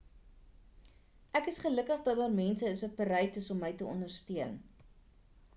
ek is gelukkig dat daar mense is wat bereid is om my te ondersteun